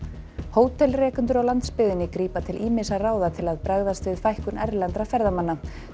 hótelrekendur á landsbyggðinni grípa til ýmissa ráða til að bregðast við fækkun erlendra ferðamanna